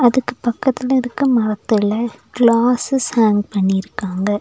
அதுக்கு பக்கத்துல இருக்க மரத்துல கிளாசஸ் ஹேங் பண்ணிருக்காங்க.